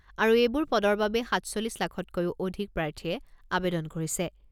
আৰু এইবোৰ পদৰ বাবে সাতচল্লিছ লাখতকৈও অধিক প্ৰাৰ্থীয়ে আৱেদন কৰিছে।